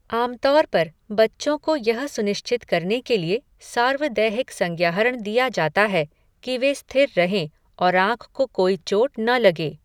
आमतौर पर, बच्चों को यह सुनिश्चित करने के लिए सार्वदैहिक संज्ञाहरण दिया जाता है कि वे स्थिर रहें और आँख को कोई चोट न लगे।